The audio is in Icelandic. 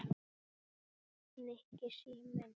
Nikki, síminn